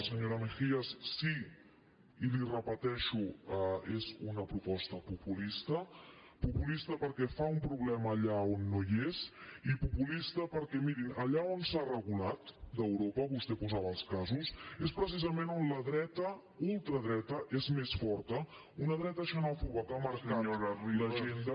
senyora mejías sí i li ho repeteixo és una proposta populista populista perquè fa un problema allà on no hi és i populista perquè miri allà on s’ha regulat d’europa vostè en posava els casos és precisament on la dreta ultradreta és més forta una dreta xenòfoba que ha marcat l’agenda